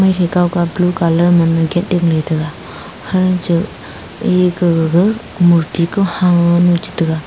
thai kao ka blue colour man ne gate te dingley taga hancha e gag ga murti ko hang cha taga.